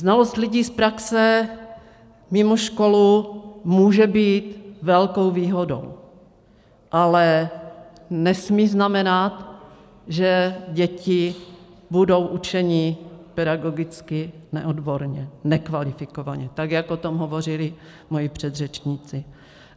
Znalost lidí z praxe mimo školu může být velkou výhodou, ale nesmí znamenat, že děti budou učeny pedagogicky neodborně, nekvalifikovaně, tak jak o tom hovořili moji předřečníci.